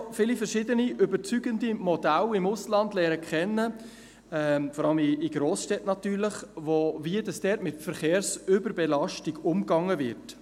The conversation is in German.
Ich habe schon viele verschiedene überzeugende Modelle im Ausland kennen gelernt, vor allem in Grossstädten natürlich, wie dort mit Verkehrsüberbelastung umgegangen wird.